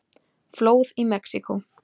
Flóð í Mexíkó